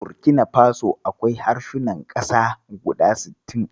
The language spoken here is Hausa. A Burkina faso, akwai harsunan ƙasa guda sittin.